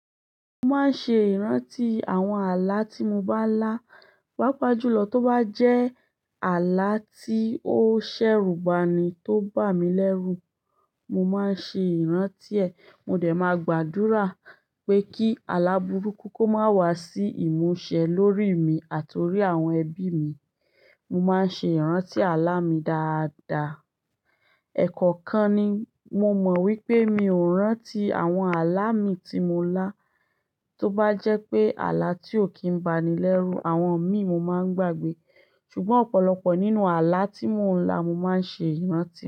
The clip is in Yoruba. Mo máa ń ṣe ìrántí àwọn ààlà tí mo bá lá, pàápàá jùlọ tó bá jẹ́ ààlà tí ó ṣẹ̀rùbani tó bà mí lẹ́rù, mo máa ń ṣe ìrántí ẹ̀. Mo dẹ̀ máa gbàdúrà pé kí àlà burúkú kó má wá sí ìmúṣẹ lórí èmi àti orí àwọn ẹbí mi. Mo máa ń ṣe ìrántí ààlà mi dáadáa. Ẹ̀kọ̀kan ni mo mọ̀ wípé mi ò rántí àwọn ààlà mi tí mo lá, tó bá jẹ́ pé ààlà tí ò kí ń ba ni lẹ́rù àwọn ẹ̀mí mo máa ń gbàgbé. Ṣùgbọ́n ọ̀pọ̀lọpọ̀ nínú ààlà tí mo ń lá, mo máa ń ṣe ìrántí.